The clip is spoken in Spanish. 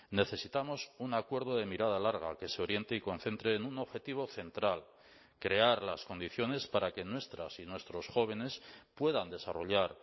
necesitamos un acuerdo de mirada larga que se oriente y concentre en un objetivo central crear las condiciones para que nuestras y nuestros jóvenes puedan desarrollar